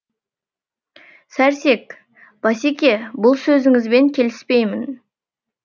сәрсек басеке бұл сөзіңізбен келіспеймін